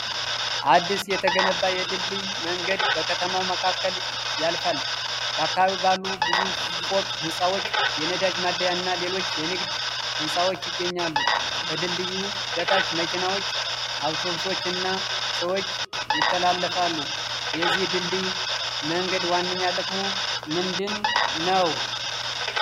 አዲስ የተገነባ የድልድይ መንገድ በከተማው መካከል ያልፋል። በአካባቢው ባለ ብዙ ፎቅ ሕንፃዎች፣ የነዳጅ ማደያ እና ሌሎች የንግድ ሕንፃዎች ይገኛሉ። ከድልድዩ በታች መኪናዎች፣ አውቶቡሶች እና ሰዎች ይተላለፋሉ። የዚህ ድልድይ መንገድ ዋነኛ ጥቅሙ ምንድነው?